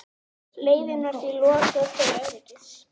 Leiðinni var því lokað til öryggis